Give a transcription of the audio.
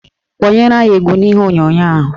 Kpọnyere anyị egwu n'ihe onyonyo ahụ